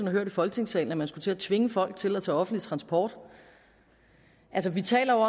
har hørt i folketingssalen at man skulle til at tvinge folk til at tage offentlig transport vi taler